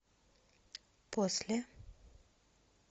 после